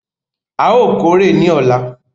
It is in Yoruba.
A óò kórè ní ọ̀la!